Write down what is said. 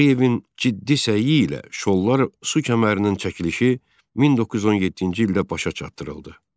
Tağıyevin ciddi səyi ilə Şollar su kəmərinin çəkilişi 1917-ci ildə başa çatdırıldı.